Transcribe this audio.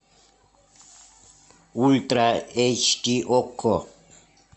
ультра эйч ди окко